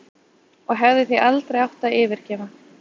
Og hefði því aldrei átt að yfirgefa